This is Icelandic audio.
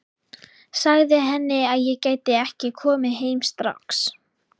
Sagði henni að ég gæti ekki komið heim strax.